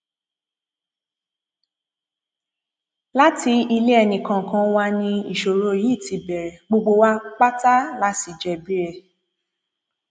láti ilé ẹnìkọọkan wa ni ìṣòro yìí ti bẹrẹ gbogbo wa pátá sí la jẹbi ẹ